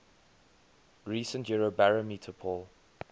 recent eurobarometer poll